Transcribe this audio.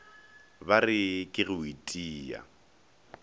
ba re ke go itia